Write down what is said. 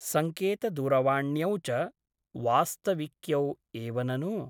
सङ्केतदूरवाण्यौ च वास्तविक्यौ एव ननु ?